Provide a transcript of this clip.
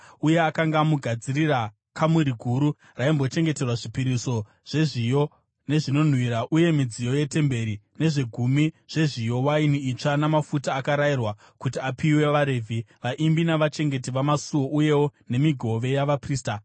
uye akanga amugadzirira kamuri guru raimbochengeterwa zvipiriso zvezviyo nezvinonhuhwira uye midziyo yetemberi, nezvegumi zvezviyo, waini itsva namafuta akarayirwa kuti apiwe vaRevhi, vaimbi navachengeti vamasuo, uyewo nemigove yavaprista.